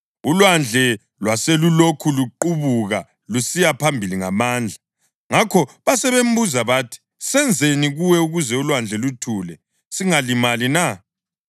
Ulwandle lwaselulokhu luqubuka lusiya phambili ngamandla. Ngakho basebembuza bathi, “Senzeni kuwe ukuze ulwandle luthule singalimali na?”